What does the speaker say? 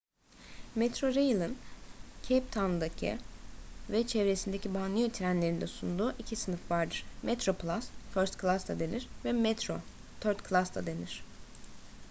metrorail'in cape town'daki ve çevresindeki banliyö trenlerinde sunduğu iki sınıf vardır: metroplus first class da denir ve metro third class da denir